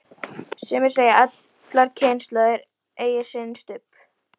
Sumir segja að allar kynslóðir eigi sinn Stubb.